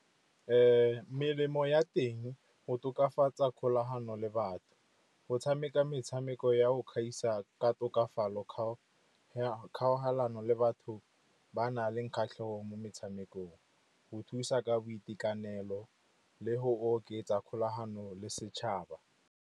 Melemo ya teng, go tokafatsa kgolagano le batho, go tshameka metshameko ya go gaisa ka tokafalo, kgaogelano le batho ba nang le kgatlhego mo metshamekong, go thusa ka boitekanelo le go oketsa kgolagano le setšhaba.